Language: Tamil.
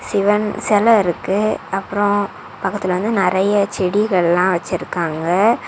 சிவன் சிலை இருக்கு அப்புறம் பக்கத்துல வந்து நறைய செடிகள்லாம் வச்சிருக்காங்க.